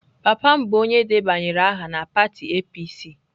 Papa m bụ onye debanyere aha na pati APC.